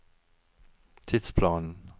tidsplanen